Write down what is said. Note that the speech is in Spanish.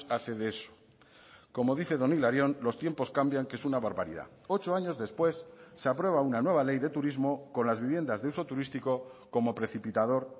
hace de eso como dice don hilarión los tiempos cambian que es una barbaridad ocho años después se aprueba una nueva ley de turismo con las viviendas de uso turístico como precipitador